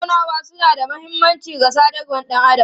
Tattaunawa suna da mahimmanci ga sadarwar ɗan adam.